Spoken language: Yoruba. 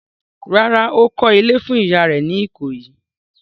Rárá, ó kọ́ ilé fún ìyá rẹ̀ ní Ìkòyí.